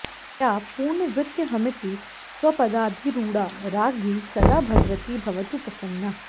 या पूर्णवृत्यहमिति स्वपदाधिरूढा राज्ञी सदा भगवती भवतु प्रसन्ना